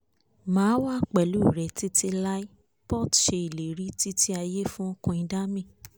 máa wà pẹ̀lú rẹ títí láì port ṣe ìlérí títí ayé fún queen dami